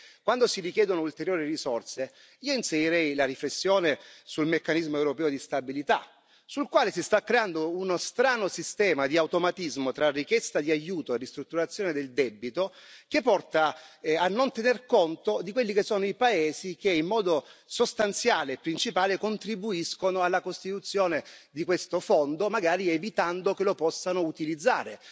Riguardo alla richiesta di ulteriori risorse io inserirei la riflessione sul meccanismo europeo di stabilità, sul quale si sta creando uno strano sistema di automatismo tra la richiesta di aiuto a ristrutturazione del debito, che porta a non tener conto dei paesi che, in modo sostanziale e principale, contribuiscono alla costituzione di questo fondo, magari evitando che lo possano utilizzare.